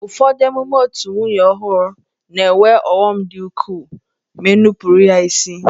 Ụfọdụ emume otù nwunye ọhụrụ na-enwe ọghọm dị ukwuu ma e nupụrụ ya isi.